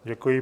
Děkuji.